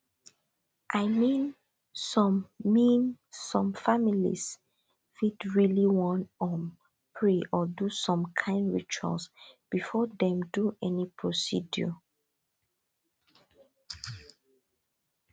i mean some mean some families fit really wan um pray or do some kind ritual before dem do any procedure